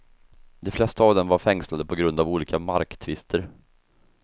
De flesta av dem var fängslade på grund av olika marktvister.